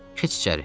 Keç içəri.